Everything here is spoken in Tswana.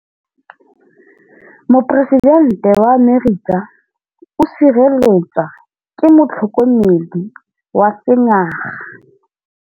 Poresitêntê wa Amerika o sireletswa ke motlhokomedi wa sengaga.